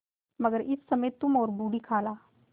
मगर इस समय तुम और बूढ़ी खाला